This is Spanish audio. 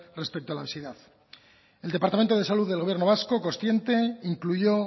respecto a la obesidad el departamento de salud del gobierno vasco consciente incluyó